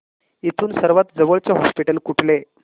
इथून सर्वांत जवळचे हॉस्पिटल कुठले